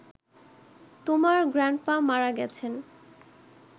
তোমার গ্র্যান্ডপা মারা গেছেন